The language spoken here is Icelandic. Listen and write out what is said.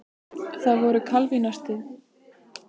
Það voru kalvínistarnir sem gerðu þessar ótrúlega fíngerðu myndir.